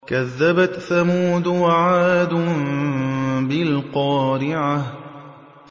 كَذَّبَتْ ثَمُودُ وَعَادٌ بِالْقَارِعَةِ